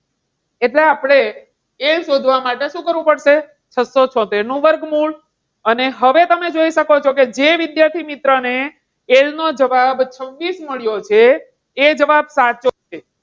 એટલે આપણે એ શોધવા માટે શું કરવું પડશે? છસો છોતેર નું વર્ગમૂળ અને હવે તમે જોઈ શકો છો કે જે વિદ્યાર્થીમિત્ર ને L નો જવાબ છવ્વીસ મળ્યો છે એ જવાબ સાચો છે.